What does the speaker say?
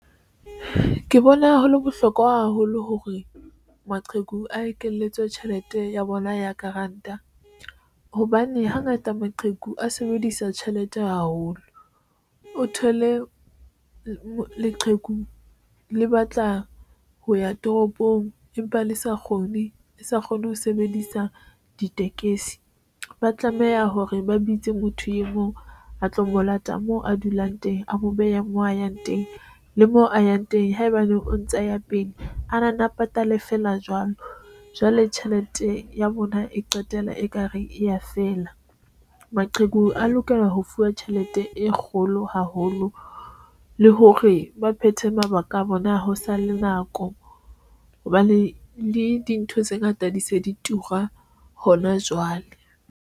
Ke bona hole bohlokwa haholo hore maqheku a ekeletswe tjhelete ya bona ya grant-a hobane hangata maqheku a sebedisa tjhelete haholo, o thole leqheku le batla ho ya toropong, empa le sa kgone le sa kgone ho sebedisa ditekesi. Ba tlameha hore ba bitse motho e mong a tlo mo lata moo a dulang teng, a mo behe moo a yang teng le mo a yang teng haebaneng o ntsa ya pele, a na nne a patale feela jwalo. Jwale tjhelete ya bona e qetela ekare e ya fela maqheku a lokela ho fuwa tjhelete e kgolo haholo le hore ba phethe mabaka a bona a hosa le nako hobane le dintho tse ngata di se di tura hona jwale.